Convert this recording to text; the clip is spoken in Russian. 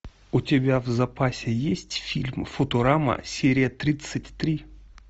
у тебя в запасе есть фильм футурама серия тридцать три